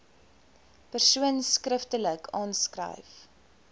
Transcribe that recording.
persoon skriftelik aanskryf